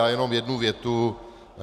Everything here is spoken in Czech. Já jenom jednu větu.